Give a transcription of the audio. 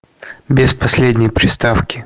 без последней приставки